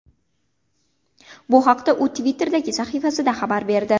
Bu haqda u Twitter’dagi sahifasida xabar berdi .